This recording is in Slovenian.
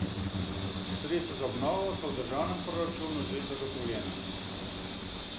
Sredstva za obnovo so v državnem proračunu že zagotovljena.